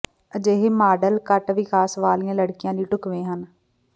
ਅਜਿਹੇ ਮਾਡਲ ਘੱਟ ਵਿਕਾਸ ਵਾਲੀਆਂ ਲੜਕੀਆਂ ਲਈ ਢੁਕਵੇਂ ਹਨ